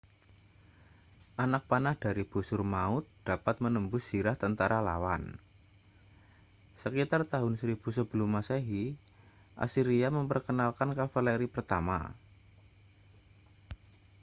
anak panah dari busur maut dapat menembus zirah tentara lawan sekitar tahun 1000 sebelum masehi asiria memperkenalkan kavaleri pertama